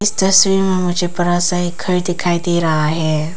तस्वीर में मुझे बड़ा सा एक घर दिखाई दे रहा है।